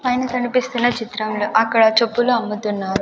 పైన కనిపిస్తున్న చిత్రంలో అక్కడ చెప్పులు అమ్ముతున్నారు.